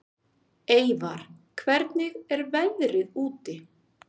Eyvar, hvernig er veðrið úti?